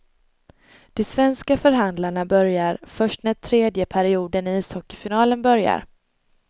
De svenska förhandlarna börjar först när tredje perioden i ishockeyfinalen börjar.